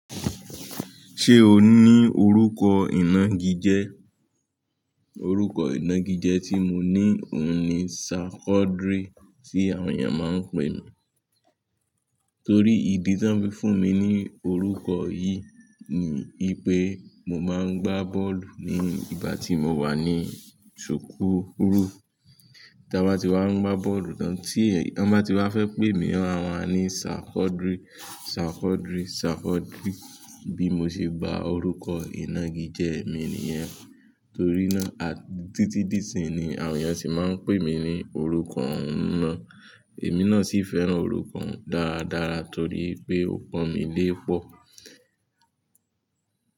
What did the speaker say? Ṣé o ní orúkọ ìnagijẹ? Orúkọ ìnagijẹ tí mo ní òun ni Sarkodry tí àwọn èèyàn mọ ń pè mí. Torí ìdí tán fi fún mi ní orúkọ yìí ni wípé mo máa ń gbá bọ́ọ̀lù ní ìgbà tí mo wà ní sukuu Tí a bá ti wá ń gbá bọ́ọ̀lù tan ba ti wá fẹ́ pé mi wọn máa ma ní Sarkodry, Sarkodry, Sarkodry bí mo ṣe gba orúkọ ìnagijẹ mi nìyẹn. Torí náà títí di ìsín ni àwọn ènìyàn sì máa ń pè mí ní orúkọ ọhun náà. Èmi náà sì fẹ́ràn orúkọ òun dáadáa torí pé ó pọn mi lé pọ̀